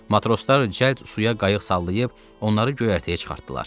Matroslar cəld suya qayıq sallayıb onları göyərtəyə çıxartdılar.